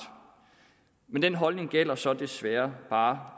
men den holdning gælder så desværre bare